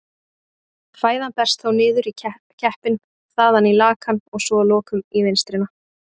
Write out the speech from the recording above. Fæðan berst þá niður í keppinn, þaðan í lakann og svo að lokum í vinstrina.